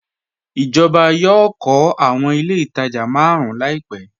Ijọba yọọ̀ kọ̀ awọn ilẹ̀ itajà màrùn làìpẹ